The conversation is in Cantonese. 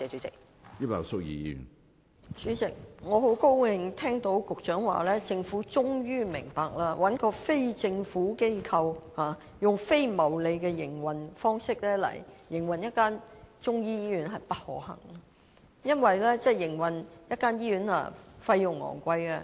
主席，我很高興聽到局長說，政府終於明白，找非政府機構以非牟利的營運方式來營運一間中醫醫院是不可行的，因為營運一間醫院費用很高昂。